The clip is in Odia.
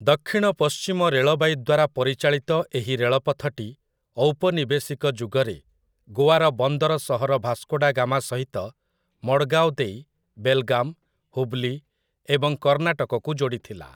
ଦକ୍ଷିଣ ପଶ୍ଚିମ ରେଳବାଇ ଦ୍ୱାରା ପରିଚାଳିତ ଏହି ରେଳପଥଟି ଔପନିବେଶିକ ଯୁଗରେ ଗୋଆର ବନ୍ଦର ସହର ଭାସ୍କୋ ଡା ଗାମା ସହିତ ମଡ୍‌ଗାଓ ଦେଇ ବେଲଗାମ୍, ହୁବ୍‌ଲି ଏବଂ କର୍ଣ୍ଣାଟକକୁ ଯୋଡ଼ିଥିଲା ।